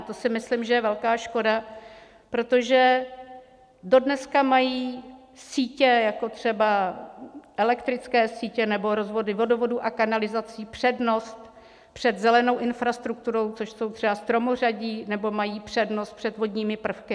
A to si myslím, že je velká škoda, protože dodneška mají sítě, jako třeba elektrické sítě nebo rozvody vodovodů a kanalizací, přednost před zelenou infrastrukturou, což jsou třeba stromořadí, nebo mají přednost před vodními prvky.